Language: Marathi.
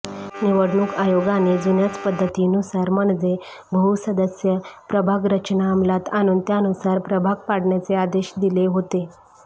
निवडणूक आयोगाने जुन्याच पद्धतीनुसार म्हणजे बहुसदस्य प्रभागरचना अमलात आणून त्यानुसार प्रभाग पाडण्याचे आदेश दिले होते